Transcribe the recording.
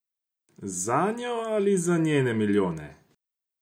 Zanjo ali za njene milijone?